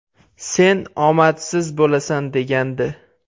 Sen omadsiz bo‘lasan”, – degandi.